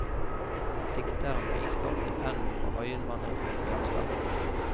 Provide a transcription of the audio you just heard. Dikteren hvilte ofte pennen og øyenvandret ut i landskapet.